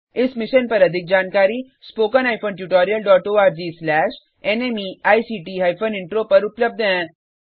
इस मिशन पर अधिक जानकारी spoken hyphen tutorial dot ORG slash NMEICT hyphen intro पर उपलब्ध है